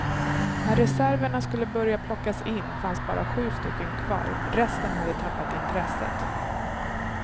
När reserverna skulle börja plockas in fanns bara sju stycken kvar, resten hade tappat intresset.